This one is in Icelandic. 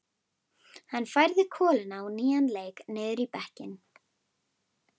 Hann færði koluna á nýjan leik niður í bekkinn.